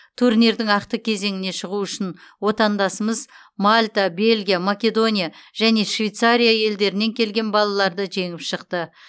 турнирдің ақтық кезеңіне шығу үшін отандасымыз мальта бельгия македония және швейцария елдерінен келген балаларды жеңіп шықты